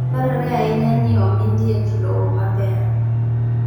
Dwarore ahinya ni omi liech lowo maber.